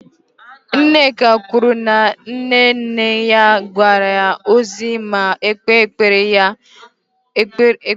Nneka kwuru na nne nne ya ga-agọzi ma kpeere ya ekpere tupu ọ nwụọ